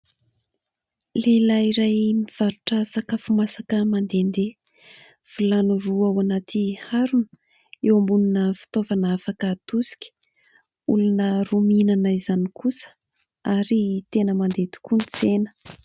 Lehilahy iray mivarotra sakafo masaka mandehandeha ; vilany roa ao anaty harona eo ambonina fitaovana afaka atosika. Olona roa mihinana izany kosa ary tena mandeha tokoa ny tsena.